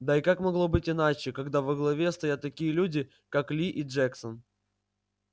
да и как могло быть иначе когда во главе стоят такие люди как ли и джексон